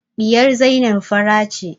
Ɗiyar Zainab fara ce